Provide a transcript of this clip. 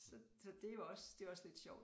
Så så det jo også det også lidt sjovt